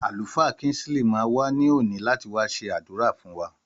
Àlùfáà Kinsley ma wa ní òní láti wá ṣẹ s'adura fún wa